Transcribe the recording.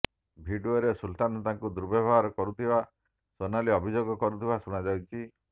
ଭିଡିଓରେ ସୁଲତାନ ତାଙ୍କୁ ଦୁର୍ବ୍ୟବହାର କରୁଥିବା ସୋନାଲି ଅଭିଯୋଗ କରୁଥିବାର ଶୁଣାଯାଉଛି